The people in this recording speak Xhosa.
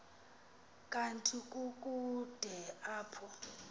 kanti kukude apho